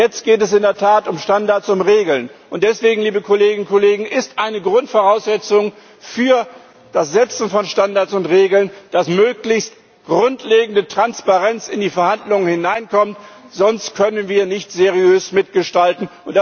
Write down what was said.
Jetzt geht es in der Tat um Standards, um Regeln, und deswegen, liebe Kolleginnen und Kollegen, ist eine Grundvoraussetzung für das Setzen von Standards und Regeln, dass möglichst grundlegende Transparenz in die Verhandlungen hineinkommt, sonst können wir nicht seriös mitgestalten.